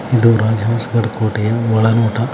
ಇದು ರಾಜ್ಯ ವಂಶಾರ್ ಕೋಟೆಯ ಒಳನೋಟ